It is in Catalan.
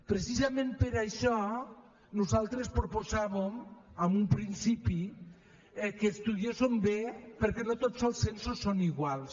precisament per això nosaltres proposàvem en un principi que ho estudiéssim bé perquè no tots els censos són iguals